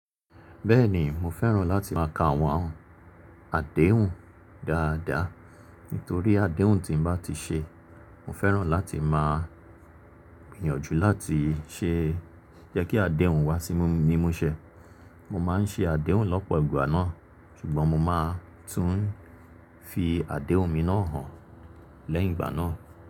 Bẹ́ẹ̀ ni, mo fẹ́ràn láti máa ka àwọn àdéhùn dáadáa, nítorí àdéhùn tí n bá ti ṣe, mo fẹ́ràn láti máa gbìyànjú láti ṣe jẹ́ kí àdéhùn wá sí mí mi múṣẹ. Mo máa ń ṣe àdéhùn lọ́pọ̀ ìgbà náà, ṣùgbọ́n mo máa tún fi àdéhùn mi náà hàn lẹ́yìn ìgbà náà.